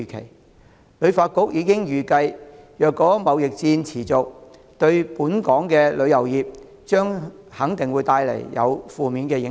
香港旅遊發展局已經預計，如果貿易戰持續，對本港的旅遊業肯定有負面影響。